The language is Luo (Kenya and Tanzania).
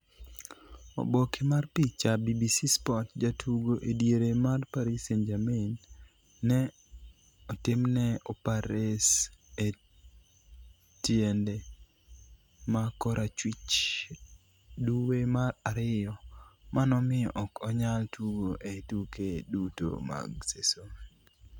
Oboke mar picha, BBC Sport Jatugo ediere mar Paris St-Germain ne otimne opares e tiende ma korachwich duwe mar Ariyo, ma nomiyo ok onyal tugo e tuke duto mag seson.